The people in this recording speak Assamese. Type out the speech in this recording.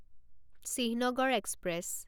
চিহ্নগড় এক্সপ্ৰেছ